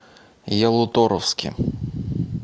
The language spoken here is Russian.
ялуторовске